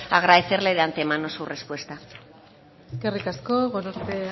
agradecerle de antemano su respuesta eskerrik asko gorospe